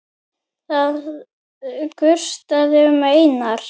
Það gustaði um Einar.